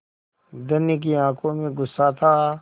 धनी की आँखों में गुस्सा था